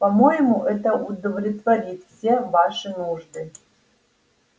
по-моему это удовлетворит все ваши нужды